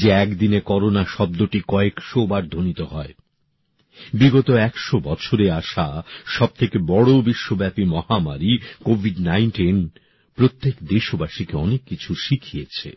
যে একদিনে করোনা শব্দটি কয়েকশোবার ধ্বনিত হয় বিগত ১০০ বছরে আসা সব থেকে বড় বিশ্বব্যাপী মহামারী কোভিড নাইনটিন প্রত্যেক দেশবাসীকে অনেক কিছু শিখিয়েছে